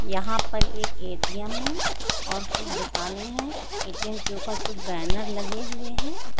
यहां पर एक ए.टी.एम. है। और कुछ दुकानें है ए.टी.एम. के ऊपर कुछ बैनर लगे हुए है।